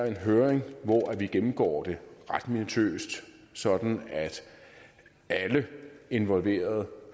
en høring hvor vi gennemgår det ret minutiøst sådan at alle involverede